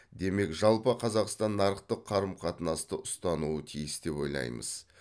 демек жалпы қазақстан нарықтық қарым қатынасты ұстануы тиіс деп ойлаймыз